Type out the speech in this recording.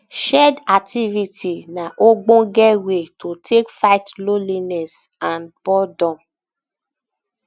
shared um activity na ogbonge wey to take fight loneliness and um boredom